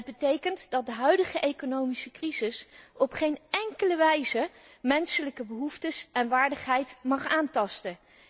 Het betekent dat de huidige economische crisis op geen enkele wijze menselijke behoeftes en waardigheid mag aantasten.